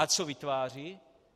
A co vytváří?